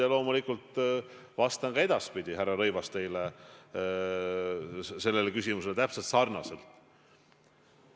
Ja loomulikult vastan ka edaspidi teie küsimusele täpselt sarnaselt.